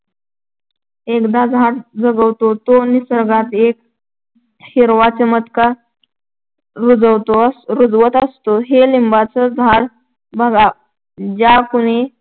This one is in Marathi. एखादं झाड जगवतो तो निसर्गात एक हिरवा चमत्कार रुजवत असतो. हे लिंबाच झाडच बघा ना ज्या कुणी